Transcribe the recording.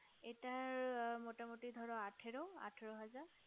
এটা মোটামোটি ধরো আঠারো আঠারো হাজার